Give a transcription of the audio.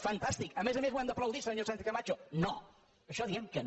fantàstic a més a més ho hem d’aplaudir senyora sánchez camacho no a això diem que no